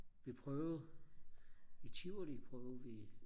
vi prøvede i Tivoli prøvede vi